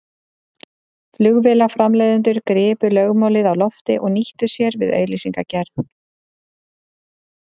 Flugvélaframleiðendur gripu lögmálið á lofti og nýttu sér við auglýsingagerð.